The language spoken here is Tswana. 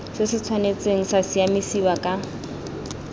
se tshwanetse sa siamisiwa ka